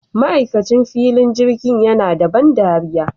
Ma'aikacin filin jirgin yana da ban ɗariya